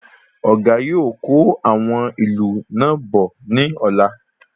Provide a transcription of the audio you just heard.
Ọ̀gá yóò kó àwọn ilú náà bọ̀ ní ọ̀la